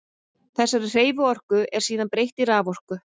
Þessari hreyfiorku er síðan breytt í raforku.